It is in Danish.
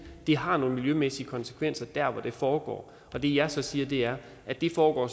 at det har nogle miljømæssige konsekvenser der hvor det foregår det jeg så siger er at det foregår